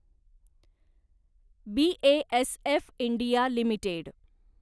BASF India limited